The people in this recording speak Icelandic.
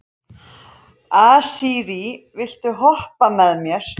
Asírí, viltu hoppa með mér?